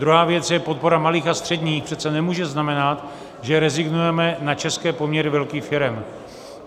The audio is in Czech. Druhá věc je podpora malých a středních - přece nemůže znamenat, že rezignujeme na české poměry velkých firem.